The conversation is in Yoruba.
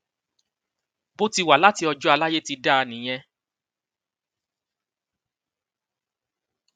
bó ti wà láti ọjọ àlàyé ti dá a nìyẹn